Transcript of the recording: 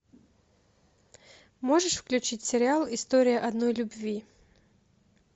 можешь включить сериал история одной любви